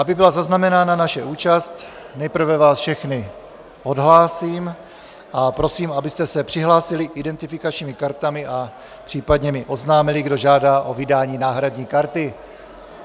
Aby byla zaznamenána naše účast, nejprve vás všechny odhlásím a prosím, abyste se přihlásili identifikačními kartami a případně mi oznámili, kdo žádá o vydání náhradní karty.